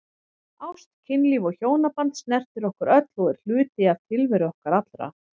Ást, kynlíf og hjónaband snertir okkur öll og er hluti tilveru okkar allra.